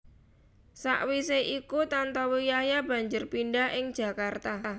Sawisé iku Tantowi Yahya banjur pindah ing Jakarta